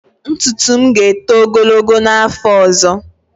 Ntutu m ga-eto ogologo n'afọ ọzọ.